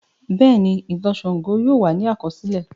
Bẹ́ẹ̀ni, ìtàn Ṣàngó yóò wà ní àkọsílẹ̀.